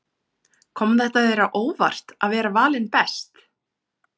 Kom þetta þér á óvart að vera valinn best?